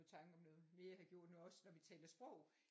I tanke om noget mere jeg har gjort nu også når vi taler sprog